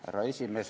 Härra esimees!